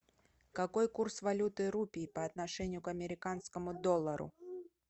какой курс валюты рупий по отношению к американскому доллару